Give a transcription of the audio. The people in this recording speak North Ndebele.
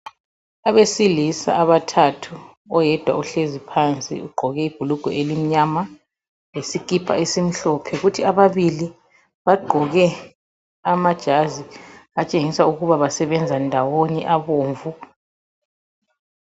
Abesilisa abathathu, oyedwa uhlezi phansi ugqoke ibhulugwe elimnyama lesikipa esimhlophe. Kuthi ababili bagqoke amajazi atshengisa ukuthi basebenza ndawonye abomvu